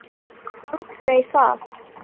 Aldrei það.